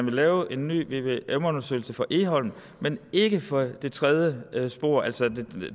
laves en ny vvm undersøgelse for egholm men ikke for det tredje spor altså